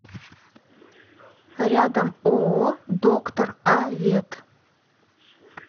рядом ооо доктор а вет